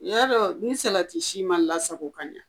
N y'a dɔn ni salati si ma lasako ka ɲa